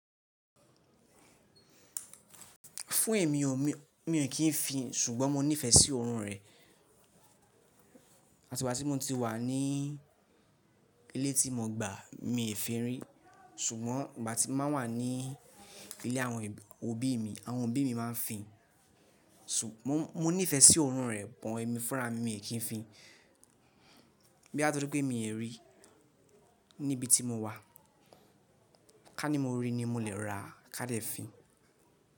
Fún èmi o, mi ò kí ń fin, ṣùgbọ́n mọ nífẹ̀ẹ́ sí oorun rẹ̀. Àti ìgbà tí mo ti wà ní ilé tí mo gbà, mii fin rí. Ṣùgbọ́n ìgbà tí má ń wà ní ilé àwọn òbí mi, àwọn òbí mi má ń fin. Mo nífẹ̀ẹ́ sí oorun rẹ̀ but èmi fúnra mi, mi ò kí ń fi. Bóyá tóri pé mii rí níbi tí mọ wà, ká ní mo rí ni mo lè ra ká dẹ́ fin.